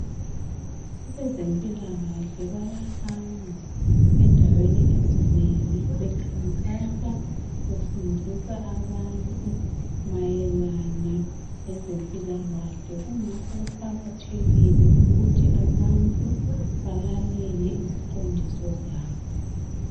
Abezempila kahle bayahamba endaweni ezinengi bekhankasa befundisa abantu mayelana lezempila kahle kungakho kuqakathekile ukuthi abantu balalele iziqondiso zabo